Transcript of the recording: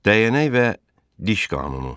Dəyənək və diş qanunu.